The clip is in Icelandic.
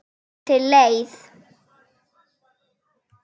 Það er til leið.